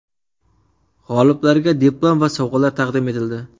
G‘oliblarga diplom va sovg‘alar taqdim etildi.